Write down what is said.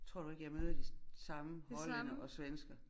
Tror du ikke jeg møder de samme hollændere og svenskere?